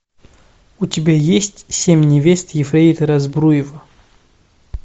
у тебя есть семь невест ефрейтора збруева